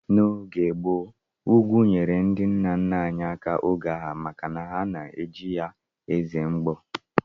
N'oge gboo, ugwu nyeere ndị nna nna anyị aka oge agha maka ha na-eji ye ezere mgbọ